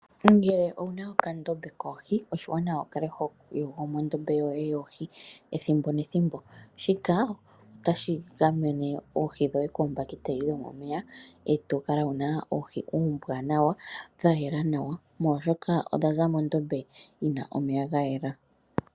Ngele owuna okandombe koohi oshiwanawa wukale hoyogo mondombe yoye yoohi ethimbo nethimbo, shika otashi gamene oohi dhoye koombakiteli dhomomeya, etokala wuna oohi ombwaanawa dhayela nawa molwaashoka odhaza mondombe yina omeya gayela.